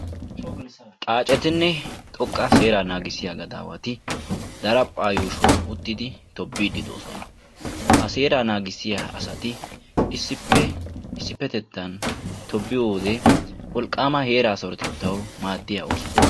Xaacetinne xoqqa seeraa naagissiya gadaawati daraphphaa yuushshuwan uttidi tobbiiddi de'oosona. Ha seeraa naagissiya asati issippe issippetettan tobbiyo wode wolqqaama heera sarotettawu maaddiya ooso.